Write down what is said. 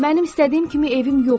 Mənim istədiyim kimi evim yoxdur.